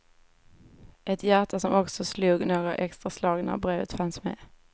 Ett hjärta som också slog några extra slag när brevet fanns med.